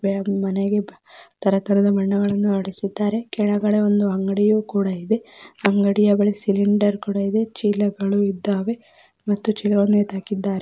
ತರತರದ ಬಣ್ಣಗಳನ್ನು ಹೊಡಿಸಿದ್ದಾರೆ ಏಡಗಡೆ ಒಂದು ಅಂಗಡಿ ಇದೆ ಅಂಗಡಿಯಲ್ಲಿ ಸಿಲಿಂಡರ್ ಹಾಗು ಚೀಲಗಳು ಇವೆ ಮತ್ತು ಚೀಲಗಳನ್ನು ನೇತುಹಾಕಿದ್ದಾರೆ.